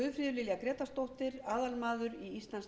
lilja grétarsdóttir aðalmaður í